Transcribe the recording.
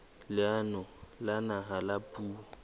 leanong la naha la puo